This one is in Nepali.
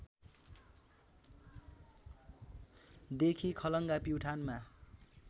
देखि खलङ्गा प्युठानमा